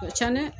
Can dɛ